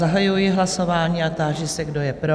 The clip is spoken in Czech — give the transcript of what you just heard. Zahajuji hlasování a táži se, kdo je pro?